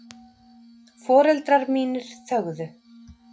Foreldrar mínir þögðu.